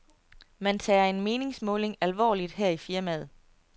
Man tager en meningsmåling alvorligt her i firmaet.